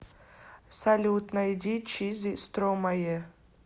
салют найди чизи стромае